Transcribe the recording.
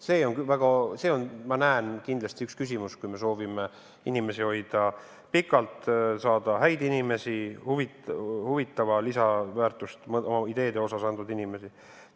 See on, ma näen, kindlasti üks küsimusi, kui me soovime inimesi hoida pikalt tööl, saada tööle häid inimesi, ideede kohta huvitavat lisandväärtust andvaid inimesi.